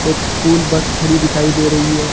एक school bus खड़ी दिखाई दे रही है।